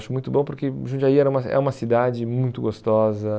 Acho muito bom porque Jundiaí era uma é uma cidade muito gostosa.